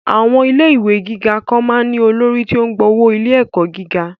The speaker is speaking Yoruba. Àwọn ilé ìwé gíga kan máa ń ní olórí tí ó ń gba owó ilé-ẹ̀kọ́ gíga